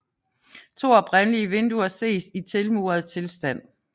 To oprindelige vinduer ses i tilmuret tilstand